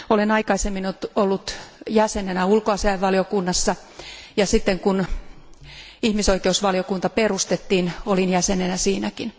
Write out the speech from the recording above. Olen aikaisemmin ollut jäsenenä ulkoasiainvaliokunnassa ja sitten kun ihmisoikeusvaliokunta perustettiin, olin jäsenenä siinäkin.